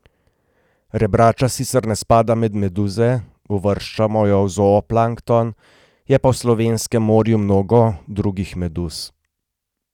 Rebrača sicer ne spada med meduze, uvrščamo jo v zooplankton, je pa v slovenskem morju mnogo drugih meduz.